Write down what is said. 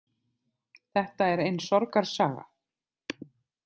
Þetta er ein sorgarsaga.